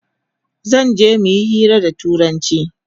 Zanje muyi hira da turanchi